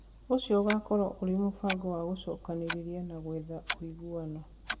Ũcio ũgaakorwo ũrĩ mũbango wa gũcokanĩrĩria na gwetha ũiguano,